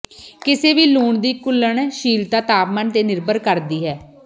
ਕਿਸੇ ਵੀ ਲੂਣ ਦੀ ਘੁਲਣਸ਼ੀਲਤਾ ਤਾਪਮਾਨ ਤੇ ਨਿਰਭਰ ਕਰਦੀ ਹੈ